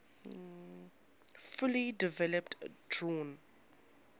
fully developed drawn